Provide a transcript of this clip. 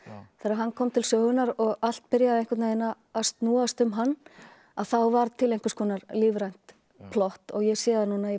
þegar hann kom til sögunnar og allt byrjaði að snúast um hann að þá varð til einhvers konar lífrænt plott ég sé það núna ég